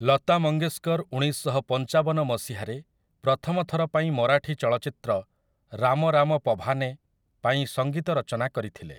ଲତା ମଙ୍ଗେସ୍କର୍ ଉଣେଇଶଶହପଞ୍ଚାବନ ମସିହାରେ ପ୍ରଥମ ଥର ପାଇଁ ମରାଠୀ ଚଳଚ୍ଚିତ୍ର 'ରାମ ରାମ ପଭାନେ' ପାଇଁ ସଙ୍ଗୀତ ରଚନା କରିଥିଲେ ।